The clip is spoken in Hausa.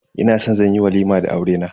Ina san zan yi walima da aurena.